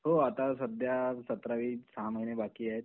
हो आता सध्या सतरावी सहा महिने बाकी आहे.